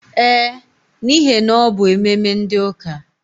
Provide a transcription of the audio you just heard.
Ee, n'ihe na ọ bụ ememe ndi ụka.